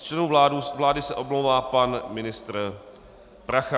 Z členů vlády se omlouvá pan ministr Prachař.